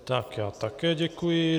Tak já také děkuji.